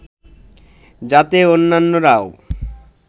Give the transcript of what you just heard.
যাতে অন্যান্যরাও